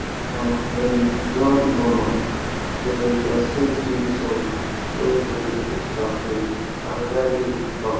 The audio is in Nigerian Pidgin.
our um grandmama dem da sing swit song wen dem da mix charco and dry leave for fam